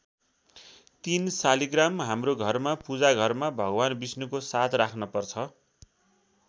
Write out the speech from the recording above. ३ शालिग्राम हाम्रो घरमा पूजा घरमा भगवान विष्णुको साथ राख्न पर्छ।